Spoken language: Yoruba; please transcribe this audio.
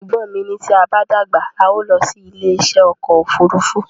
Ẹ̀gbọ́n mi ní tí a bá dàgbà, a o lọ sí ilé isẹ́ ọkọ̀ òfúrúúfú